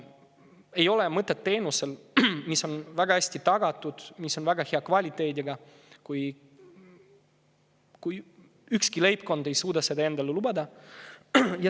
Ei ole mõtet teenusel, mis on väga hästi tagatud, väga hea kvaliteediga, kui ükski leibkond ei suuda seda endale lubada.